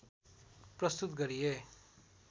प्रस्तुत गरिए